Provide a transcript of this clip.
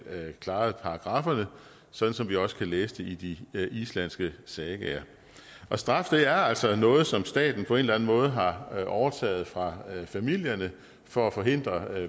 klarede paragrafferne sådan som vi også kan læse om det i de islandske sagaer straf er altså noget som staten på en eller anden måde har overtaget fra familierne for at forhindre